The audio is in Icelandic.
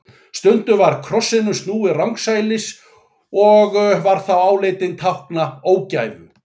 Stundum var krossinum snúið rangsælis og var þá álitinn tákna ógæfu.